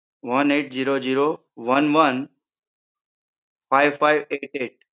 one eight zero zero one one five five eight eight